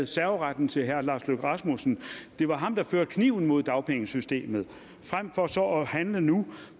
serveretten til herre lars løkke rasmussen det var ham der førte kniven mod dagpengesystemet frem for at handle nu